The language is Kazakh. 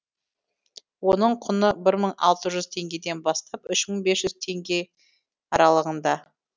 оның құны бір мың алты жүз теңгеден бастап үш мың бес жүз теңге аралығында